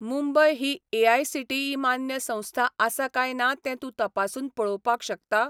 मुंबय ही एआयसीटीई मान्य संस्था आसा काय ना तें तूं तपासून पळोवपाक शकता?